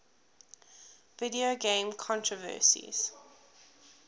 video game controversies